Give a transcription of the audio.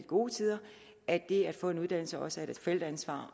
gode tider at det at få en uddannelse også er et forældreansvar